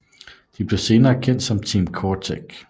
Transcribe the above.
De bliver senere kendt som Team CoreTech